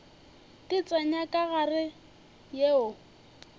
di tsenya ka gare yeo